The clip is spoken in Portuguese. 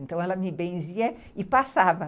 Então, ela me benzia e passava.